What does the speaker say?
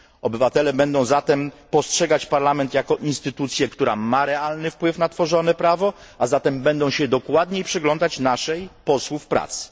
Obywatele będą zatem postrzegać Parlament jako instytucję, która ma realny wpływ na tworzone prawo, a zatem będą się dokładniej przyglądać naszej poselskiej pracy.